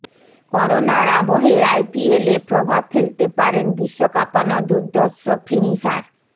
করোনার আবহে আইপিএলে প্রভাব ফেলতে পারেন বিশ্ব কাঁপানো দুর্ধর্ষ ফিনিশার